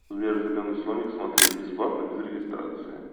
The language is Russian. сбер зеленый слоник смотреть бесплатно без регистрации